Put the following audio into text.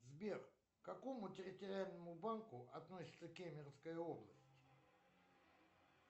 сбер к какому территориальному банку относится кемеровская область